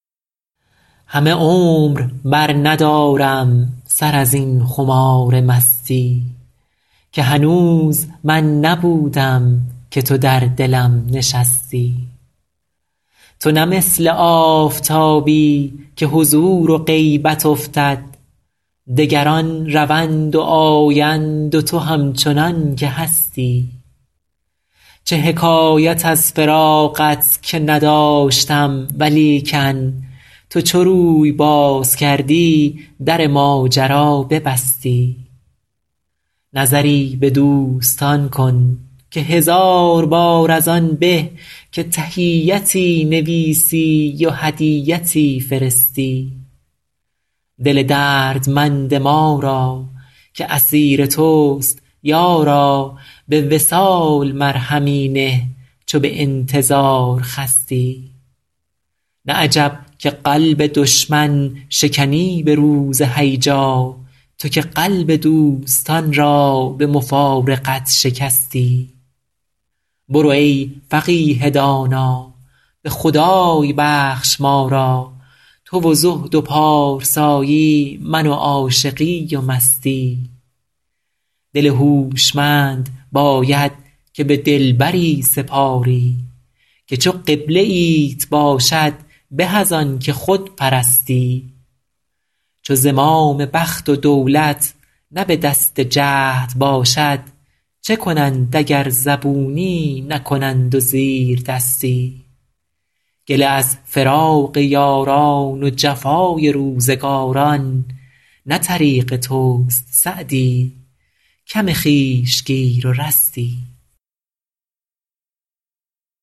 همه عمر برندارم سر از این خمار مستی که هنوز من نبودم که تو در دلم نشستی تو نه مثل آفتابی که حضور و غیبت افتد دگران روند و آیند و تو همچنان که هستی چه حکایت از فراقت که نداشتم ولیکن تو چو روی باز کردی در ماجرا ببستی نظری به دوستان کن که هزار بار از آن به که تحیتی نویسی و هدیتی فرستی دل دردمند ما را که اسیر توست یارا به وصال مرهمی نه چو به انتظار خستی نه عجب که قلب دشمن شکنی به روز هیجا تو که قلب دوستان را به مفارقت شکستی برو ای فقیه دانا به خدای بخش ما را تو و زهد و پارسایی من و عاشقی و مستی دل هوشمند باید که به دلبری سپاری که چو قبله ایت باشد به از آن که خود پرستی چو زمام بخت و دولت نه به دست جهد باشد چه کنند اگر زبونی نکنند و زیردستی گله از فراق یاران و جفای روزگاران نه طریق توست سعدی کم خویش گیر و رستی